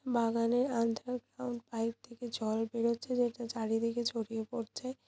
বাগানে pump pipe থেকে জল বেরোচ্ছে যেটা চারিদিকে ছড়িয়ে পড়ছে।